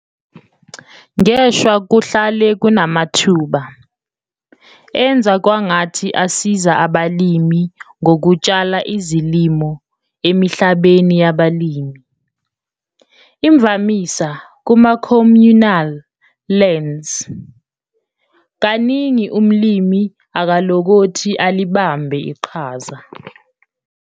Ngeshwa kuhlale kunamathuba "enza kwangathi" asiza abalimi ngokutshala izilimo emihlabeni yabalimi, imvamisa kuma-communal lands, - kaningi umlimi akalokothi alibambe iqhaza.